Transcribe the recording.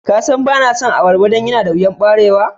Ka San ba na son ababba dan yana da wiyan barewa?